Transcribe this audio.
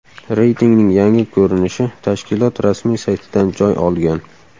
Reytingning yangi ko‘rinishi tashkilot rasmiy saytidan joy olgan .